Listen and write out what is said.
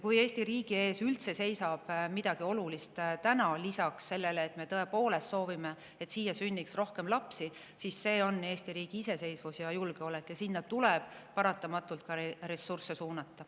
Kui Eesti riigi ees üldse seisab praegu midagi olulist lisaks sellele, et me tõepoolest soovime, et siia sünniks rohkem lapsi, siis see on Eesti riigi iseseisvus ja julgeolek, ja sinna tuleb paratamatult ressursse suunata.